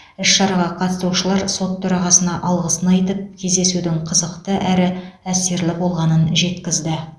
іс шараға қатысушылар сот төрағасына алғысын айтып кездесудің қызықты әрі әсерлі болғанын жеткізді